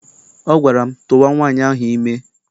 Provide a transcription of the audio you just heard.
Ọ gwara m, tụwa nwaanyị ahụ ime!